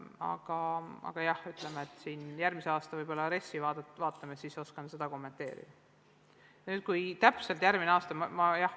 Aga jah, kui vaatame järgmise aasta RES-i, siis oskan seda kommenteerida.